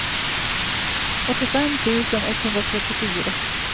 åttiofem tusen etthundratrettiofyra